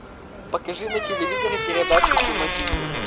покажи на телевизоре передачу кино тиви